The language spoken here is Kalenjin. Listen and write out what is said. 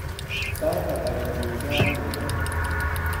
Sait hata kotinygei ak Nairobi